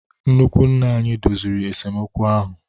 Nnukwu nna anyị doziri esemokwu ahụ.